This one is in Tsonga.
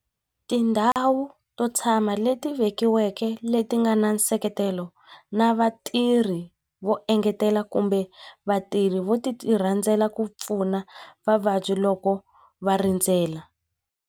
Tindhawu to tshama leti vekiweke leti nga na nseketelo na vatirhi vo engetela kumbe vatirhi vo ti ti rhandzela ku pfuna vavabyi loko va rindzela.